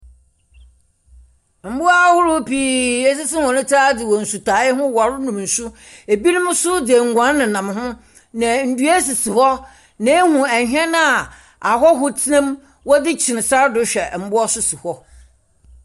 Mbowa ahorow pii esisi hɔn tsir adze wɔ nsutaae ho wɔronom nsu, binom so dze enguan nenam ho na ndua sisi hɔ. Na ihu hɛn a ahɔho tsena mu wɔdze kyin sar do hwɛ mbowa so si.